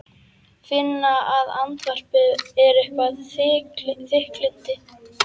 Finna að andvarpið er eitthvert þykkildi.